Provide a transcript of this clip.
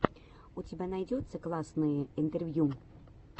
у тебя найдется классные интервью